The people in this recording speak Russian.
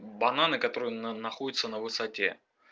бананы которые на находятся на высоте